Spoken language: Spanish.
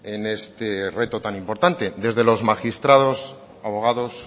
en este reto tan importante desde los magistrados abogados